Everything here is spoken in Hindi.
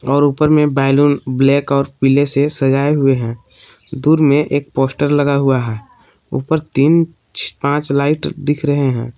और ऊपर में बैलून ब्लैक और पीले से सजाए हुवे है दूर में एक फोस्टर लगा हुआ है ऊपर तीन पांच लाइट दिख रहे है।